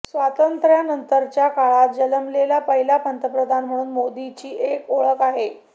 स्वातंत्र्यानंतरच्या काळात जन्मलेला पहिला पंतप्रधान म्हणून मोदींची एक ओळख आहे